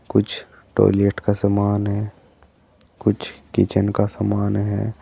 कुछ टॉयलेट का समान है कुछ किचन का समान है।